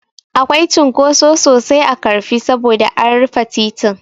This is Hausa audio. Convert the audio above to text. Akwai cunkoso sosai a Ƙarfi saboda an rufe titin.